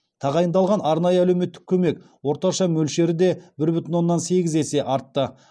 тағайындалған арнайы әлеуметтік көмек орташа мөлшері де бір бүтін оннан сегіз есе артты